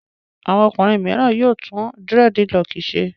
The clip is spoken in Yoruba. Àwọn ọkùnrin mìíràn yóò tún dírẹ́dilọọkì ṣe.